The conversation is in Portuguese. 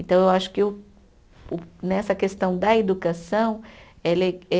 Então, eu acho que o o nessa questão da educação, ela é